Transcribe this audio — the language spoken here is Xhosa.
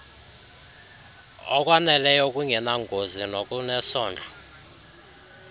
okwaneleyo okungenangozi nokunesondlo